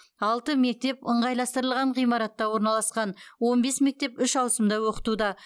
алты мектеп ыңғайластырылған ғимаратта орналасқан он бес мектеп үш ауысымда оқытуда